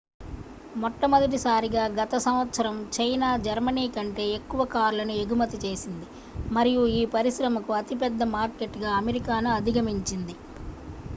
మొట్టమొదటిసారిగా గత సంవత్సరం చైనా జర్మనీ కంటే ఎక్కువ కార్లను ఎగుమతి చేసింది మరియు ఈ పరిశ్రమకు అతిపెద్ద మార్కెట్గా అమెరికాను అధిగమించింది